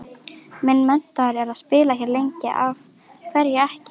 Minn metnaður er að spila hér lengi, af hverju ekki?